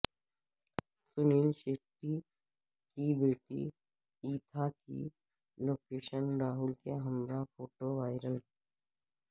سنیل سیٹھی کی بیٹی ایتھا کی لوکیش راہول کے ہمراہ فوٹو وائرل